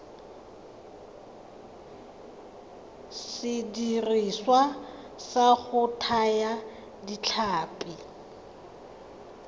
sediriswa sa go thaya ditlhapi